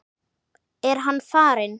Er hann farinn?